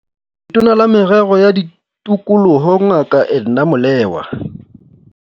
Tona la Merero ya Tikoloho Ngaka Edna Molewa.